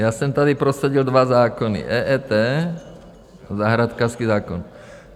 Já jsem tady prosadil dva zákony - EET a zahrádkářský zákon.